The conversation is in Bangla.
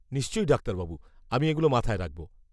নিশ্চয়ই ডাক্তারবাবু, আমি এগুলো মাথায় রাখব।